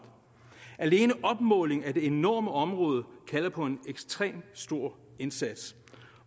alene opmåling af det enorme område kalder på en ekstremt stor indsats